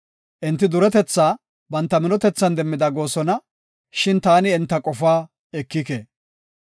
Enti duretetha banta minotethan demmida goosona; shin taani enta qofaa ekike.